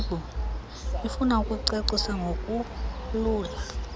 ifuna ukucacisa ngokulula